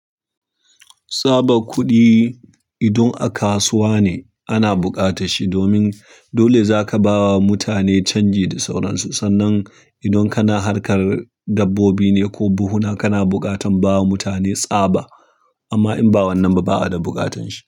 Tsaba kuɗi idan aka suwa ne ana buƙata shi domin dole zaka ba wa mutane canji da sauransu. Sannan idan kana harkar dabbobi ne ko buhuna, kana buƙatan bawa mutane tsaba. Amma in ba wannan ba, ba a da buƙatan shi.